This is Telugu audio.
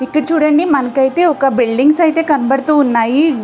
ఇక్కడ చూడండి మనకైతే ఒక బిల్డింగ్స్ అయితే కనపడుతూ ఉన్నాయి.